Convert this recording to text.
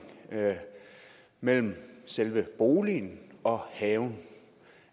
mellem selve boligen og haven